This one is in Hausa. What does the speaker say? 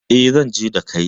E, zan je da kai.